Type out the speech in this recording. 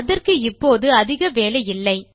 அதற்கு இப்போது அதிக வேலையில்லை